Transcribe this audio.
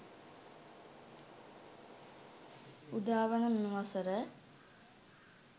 උදාවන මෙම වසර